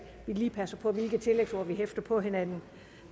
vi lige passer på hvilke tillægsord vi hæfter på hinanden